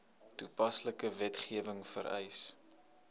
toepaslike wetgewing vereis